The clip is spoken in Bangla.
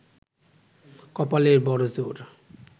কপালের বড়ো জোর